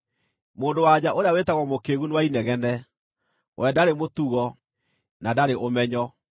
Mũndũ-wa-nja ũrĩa wĩtagwo Mũkĩĩgu nĩ wa inegene; we ndarĩ mũtugo, na ndarĩ ũmenyo.